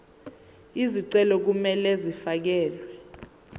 izicelo kumele zifakelwe